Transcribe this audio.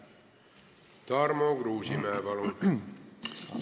Tarmo Kruusimäe, palun!